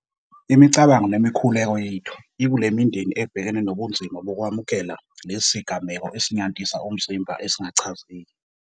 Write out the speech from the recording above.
Imicabango nemikhuleko yethu ikule mindeni ebhekene nobunzima bokwamukela lesi sigameko esinyantisa umzimba esingachazeki.